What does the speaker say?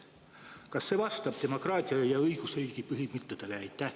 Kas see vastab demokraatia ja õigusriigi põhimõtetele?